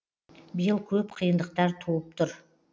биыл көп қиындықтар туып тұр